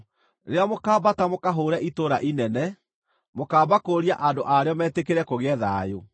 Rĩrĩa mũkaambata mũkahũũre itũũra inene, mũkaamba kũũria andũ a rĩo metĩkĩre kũgĩe thayũ.